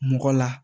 Mɔgɔ la